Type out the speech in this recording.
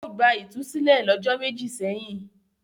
Ó gba ìtúsílẹ̀ lọ́jọ́ méjì sẹ́yìn.